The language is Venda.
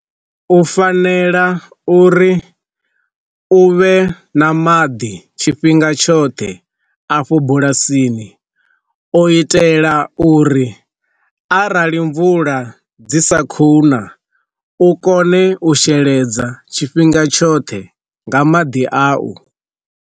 U fanela uri u vhe na maḓi tshifhinga tshoṱhe afho bulasini o itela uri arali mvula dzi sa khou na u kone u sheledza tshifhinga tshoṱhe nga maḓi awu.